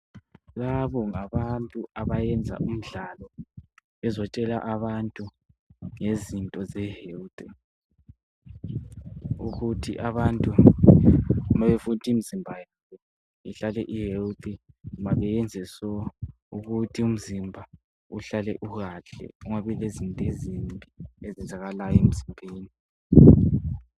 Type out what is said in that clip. Labo ngabantu abayenza umdlalo bezotshela abantu ngezinto ze health ukuthi abantu nxa befuna ukuthi imizimba yabo ihlale I health mele benze njani ukuthi umzimba uhlale u health kungabi lezinto ezenzakalayo emzimbeni.